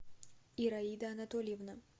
ираида анатольевна